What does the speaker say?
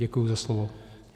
Děkuji za slovo.